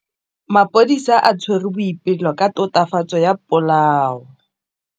Maphodisa a tshwere Boipelo ka tatofatsô ya polaô.